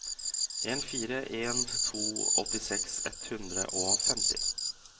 en fire en to åttiseks ett hundre og femti